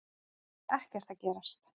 Það er ekkert að gerast.